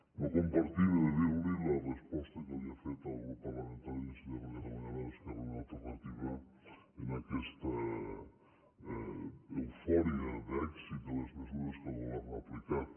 no compartim he de dir li la resposta que li ha fet al grup parlamentari d’iniciativa per catalunya verds esquerra unida i alternativa amb aquesta eufòria d’èxit de les mesures que el govern ha aplicat